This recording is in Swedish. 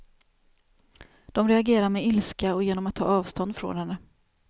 De reagerar med ilska och genom att ta avstånd från henne.